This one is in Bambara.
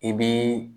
I bi